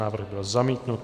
Návrh byl zamítnut.